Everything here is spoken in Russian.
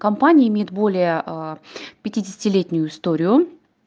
компания имеет более пятидесяти-летнюю историю